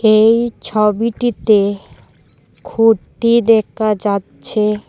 এই ছবিটিতে খুঁটি দেখা যাচ্ছে।